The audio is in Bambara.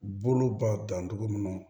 Bolo ba dancogo mun na